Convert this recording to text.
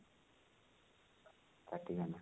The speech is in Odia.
କଟିଗଲା